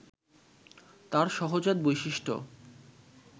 তার সহজাত বৈশিষ্ট্য